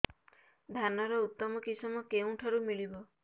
ଧାନର ଉତ୍ତମ କିଶମ କେଉଁଠାରୁ ମିଳିବ